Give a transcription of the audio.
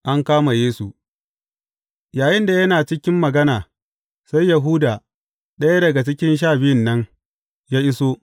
An kama Yesu Yayinda yana cikin magana, sai Yahuda, ɗaya daga cikin Sha Biyun nan, ya iso.